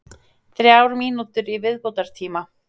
Þrjár mínútur í viðbótartíma.